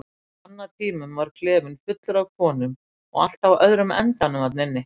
Á annatímum var klefinn fullur af konum og allt á öðrum endanum þarna inni.